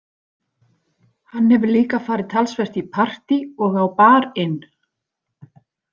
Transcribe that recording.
Hann hefur líka farið talsvert í partí og á Bar- inn.